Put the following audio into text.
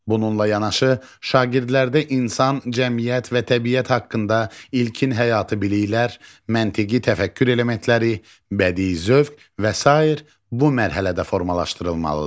Bununla yanaşı, şagirdlərdə insan, cəmiyyət və təbiət haqqında ilkin həyati biliklər, məntiqi təfəkkür elementləri, bədii zövq və sair bu mərhələdə formalaşdırılmalıdır.